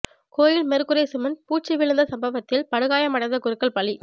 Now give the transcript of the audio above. கோயில் மேற்கூரை சிமென்ட் பூச்சு விழுந்த சம்பவத்தில் படுகாயமடைந்த குருக்கள் பலி